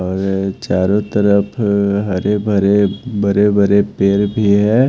और चारों तरफ हरे भरे बड़े-बरे पैर भी है।